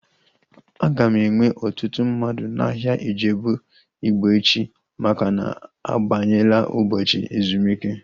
A ga-enwe ọtụtụ mmadụ n'ahia Ijebu Ịgbo echi maka na-abanyela ụbọchị ezumike